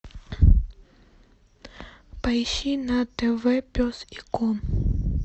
поищи на тв пес и ко